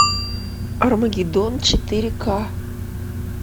армагеддон четыре ка